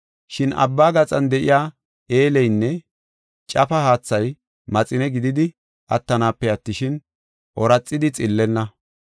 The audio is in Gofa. Shin abba gaxan de7iya eelleynne cafa haathay maxine gididi attanaape attishin, ooraxidi xillenna.